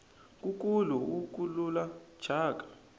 nkukulu wu kukula thyaka